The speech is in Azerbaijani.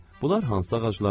Bunlar hansı ağaclardır?